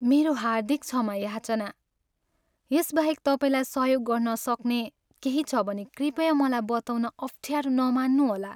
मेरो हार्दिक क्षमा याचना! यसबाहेक तपाईँलाई सहयोग गर्नसक्ने केही छ भने कृपया मलाई बताउन अफ्ठ्यारो नमान्नुहोला।